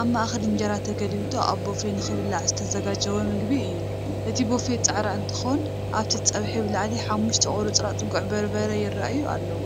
አብ ማእከል እንጀራ ተገልቢጡ አብ ቦፌ ንክብላዕ ዝተዘጋጀወ ምግቢ እዩ፡፡ እቲ ቦፌ ፃዕዳ እንትኮን አብቲ ፀብሒ ብላዕሊ ሓሙሽተ ቁርፅራፅ ጉዕ በርበረ ይረአዩ አለዉ፡፡